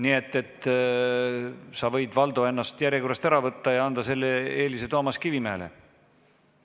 Nii et sa, Valdo, võid end järjekorrast ära võtta ja anda selle eelise Toomas Kivimägile.